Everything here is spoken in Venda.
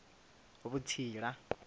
vhutsila